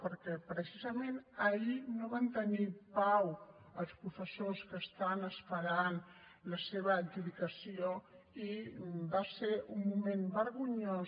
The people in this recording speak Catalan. perquè precisament ahir no van tenir pau els professors que esperen la seva adjudicació i va ser un moment vergonyós